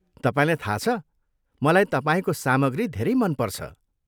तपाईँलाई थाहा छ मलाई तपाईँको सामग्री धेरै मनपर्छ।